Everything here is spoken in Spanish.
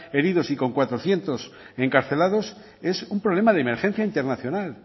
heridos y con cuatrocientos encarcelados es un problema de emergencia internacional